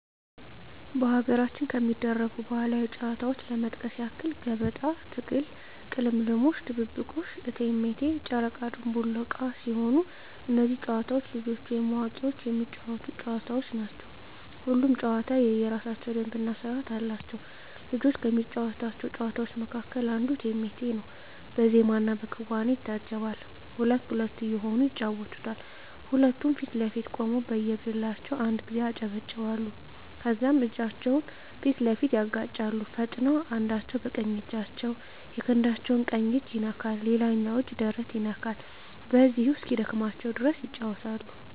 በሀገራችን ከሚደረጉ ባህላዊ ጨዋታዎች ለመጥቀስ ያክል ገበጣ፣ ትግል፣ ቅልምልሞሽ፣ ድብብቆሽ፣ እቴሜቴ፣ ጨረቃ ድንቡል ዕቃ ሲሆኑ እነዚህ ጨዋታዎች ልጆችም ወይም አዋቂዎች የሚጫወቱት ጨዋታዎች ናቸው። ሁሉም ጨዋታ የየራሳቸው ደንብ እና ስርዓት አላቸው። ልጆች ከሚጫወቷቸው ጨዋታዎች መካከል አንዱ እቴሜቴ ነው በዜማና በክዋኔ ይታጀባል ሁለት ሁለት እየሆኑ ይጫወቱታል ሁለቱም ፊት ለፊት ቆመው በየግላቸው አንድ ጊዜ ያጨበጭባሉ ከዛም እጃቸውን ፊት ለፊት ያጋጫሉ ፈጥነው አንዳቸው በቀኝ እጃቸው የክንዳቸው ቀኝ እጅ ይነካል ሌላኛው እጅ ደረት ይነካል በዚሁ እስኪደክማቸው ድረስ ይጫወታሉ።